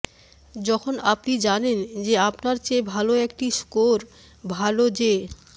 যখন আপনি জানেন যে আপনার চেয়ে ভাল একটি স্কোর ভাল যে